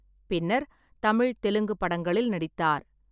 பின்னர் தமிழ், தெலுங்கு படங்களில் நடித்தார்.